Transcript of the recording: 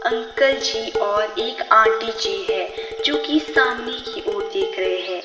Uncle ji और एक aunty ji है जो कि सामने की ओर देख रहे है।